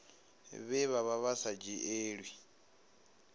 vhe vha vha sa dzhielwi